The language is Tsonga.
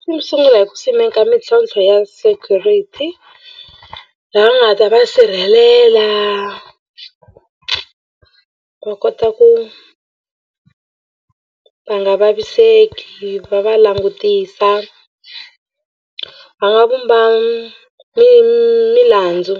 Swi n'wi sungula hi ku simeka mintlhontlho ya security laha va nga ta va sirhelela va kota ku va nga vaviseki va va langutisa va nga vumba milandzu